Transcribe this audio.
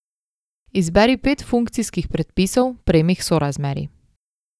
Izberi pet funkcijskih predpisov premih sorazmerij.